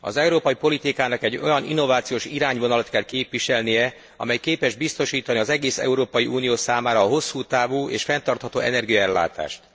Az európai politikának egy olyan innovációs irányvonalat kell képviselnie, amely képes biztosítani az egész Európai Unió számára a hosszú távú és fenntartható energiaellátást.